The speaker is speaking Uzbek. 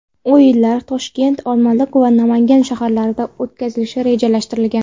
O‘yinlar Toshkent, Olmaliq va Namangan shaharlarida o‘tkazilishi rejalashtirilgan.